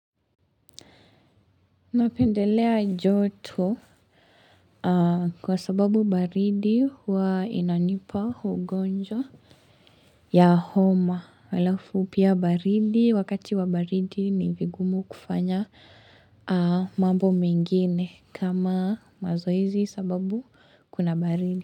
Napendelea joto kwa sababu baridi huwa inanipa ugonjwa ya homa. Halafu pia baridi, wakati wa baridi ni vigumu kufanya mambo mengine kama mazoezi sababu kuna baridi.